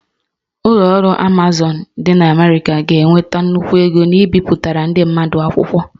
Ụlọ ọrụ Amazon dị na Amerịka ga-enweta nnukwu ego n'ibipụtara ndị mmadụ akwụkwọ